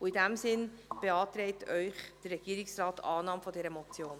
In diesem Sinne beantragt Ihnen der Regierungsrat die Annahme dieser Motion.